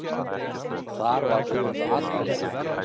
Þar var auðvitað allt rétt.